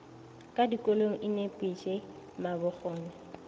ka dikolong e nepiše mabokgone